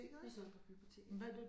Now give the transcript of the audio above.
Jeg så det på biblioteket ja